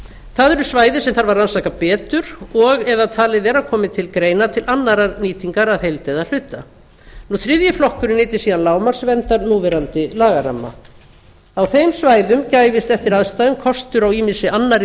það eru svæði sem þarf að rannsaka betur og eða talið er að komi til annarrar nýtingar að heild eða hluta þriðji flokkurinn nyti síðan lágmarksverndar núverandi lagaramma á þeim svæðum gæfist eftir aðstæðum kostur á ýmissi annarri